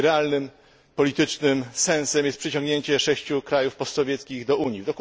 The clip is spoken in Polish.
Jej realnym politycznym sensem jest przyciągnięcie sześciu krajów postsowieckich do Unii.